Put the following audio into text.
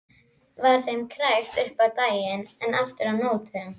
Var þeim krækt upp á daginn en aftur á nóttum.